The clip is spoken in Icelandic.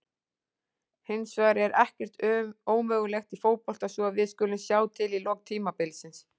Hins vegar er ekkert ómögulegt í fótbolta svo við skulum sjá til í lok tímabilsins.